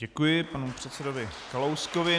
Děkuji panu předsedovi Kalouskovi.